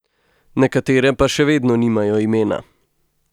Nekatere pa še vedno nimajo imena.